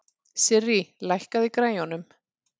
Sirrí, lækkaðu í græjunum.